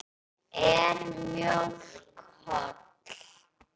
Er mjólk holl?